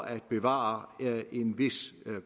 at bevare en vis